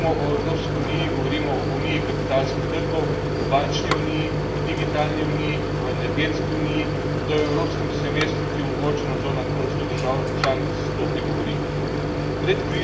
Ko danes govorimo o Evropski uniji, govorimo o uniji kapitalskih trgov, o bančni uniji, o digitalni uniji, o energetski uniji, da o evropskem semestru, ki omogoča nadzor nad proračunom držav članic sploh ne govorim.